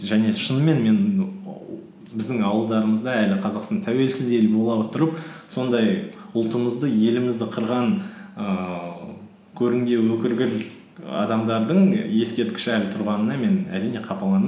және шынымен мен біздің ауылдарымызда әлі қазақстан тәуелсіз ел бола отырып сондай ұлтымызды елімізді қырған ііі адамдардың і ескерткіші әлі тұрғанына мен әрине қапаландым